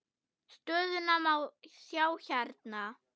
Stöðuna má sjá hérna.